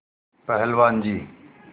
पहलवान जी